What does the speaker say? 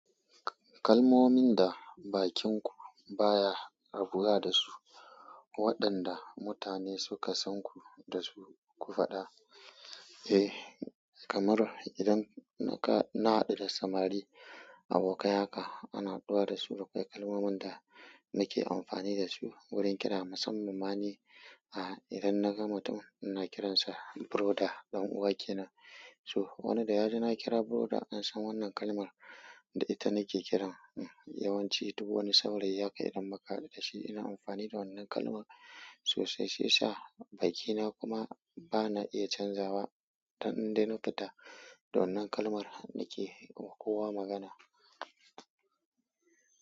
Kalmomin da bakinku baya rabuwa da su, waɗanda mutane suka san ku da su ku faɗa. Eh, kamar idan naka, na haɗu da samari, abokai haka ana haɗuwa da su da kai. Kalmomin da nake amfani da su wurin kira musamman ma ni idan na ga mutum ina kiransa brother, ɗan uwa kenan. To, wani da ya ji na kira brother an san wannan kalmar da ita nake kiran. Yawanci duk wani saurayi haka idan muka haɗu da shi ina amfani da wannan kalma sosai. Shi yasa bakina kuma bana iya canzawa har in dai na fita da wannan kalmar da ke kowa magana.